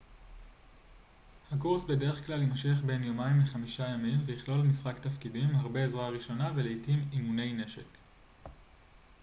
הקורס בדרך כלל יימשך בין יומיים ל-5 ימים ויכלול משחק תפקידים הרבה עזרה ראשונה ולעתים אימוני נשק